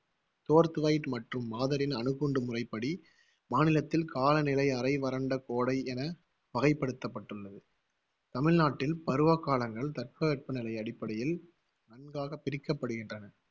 தோர்த்வைட் மற்றும் மாதரின் அணுகுண்டுமுறைபடி மாநிலத்தில் காலநிலை அரை வறண்ட கோடை என வகைப்படுத்தப்பட்டுள்ளது. தமிழ்நாட்டில் பருவகாலங்கள் தட்பவெப்பநிலை அடிப்படையில் நன்காகப் பிரிக்கப்படுகின்றன.